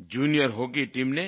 junior hockey team ने